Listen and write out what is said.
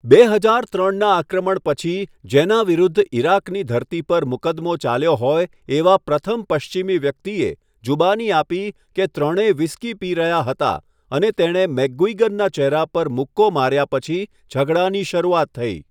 બે હજાર ત્રણના આક્રમણ પછી જેના વિરુદ્ધ ઇરાકની ધરતી પર મુકદ્દમો ચાલ્યો હોય એવા પ્રથમ પશ્ચિમી વ્યક્તિએ, જુબાની આપી કે ત્રણેય વ્હિસ્કી પી રહ્યા હતા અને તેણે મેકગુઇગનના ચહેરા પર મુક્કો માર્યા પછી ઝઘડાની શરૂઆત થઈ.